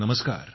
नमस्कार